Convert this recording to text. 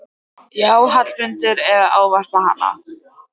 Já, Hallmundur er að ávarpa hana!